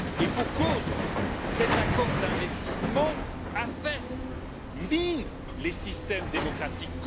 Et pour cause, cet accord d'investissement affaisse, mine les systèmes démocratiques.